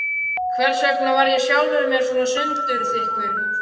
Hversvegna var ég sjálfum mér svo sundurþykkur?